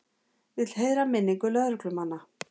Vill heiðra minningu lögreglumanna